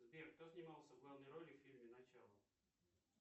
сбер кто снимался в главной роли в фильме начало